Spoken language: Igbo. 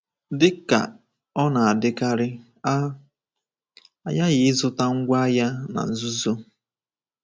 Dị ka ọ na-adịkarị, a ghaghị ịzụta ngwá agha na nzuzo.